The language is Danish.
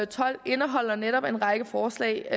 tolv indeholder netop en række forslag